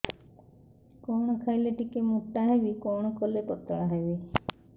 କଣ ଖାଇଲେ ଟିକେ ମୁଟା ହେବି କଣ କଲେ ପତଳା ହେବି